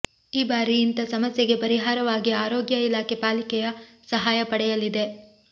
ಈ ಬಾರಿ ಇಂಥ ಸಮಸ್ಯೆಗೆ ಪರಿಹಾರವಾಗಿ ಆರೋಗ್ಯ ಇಲಾಖೆ ಪಾಲಿಕೆಯ ಸಹಾಯ ಪಡೆಯಲಿದೆ